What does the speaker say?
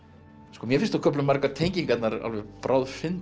mér finnst á köflum margar tengingarnar